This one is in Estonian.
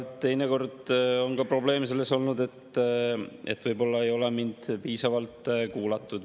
Teinekord on ka probleem selles olnud, et võib-olla ei ole mind piisavalt kuulatud.